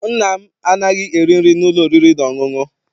Nna m anaghị eri nri n'ụlọ oriri na ọṅụṅụ.